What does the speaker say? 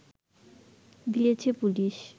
দিয়েছে পুলিশ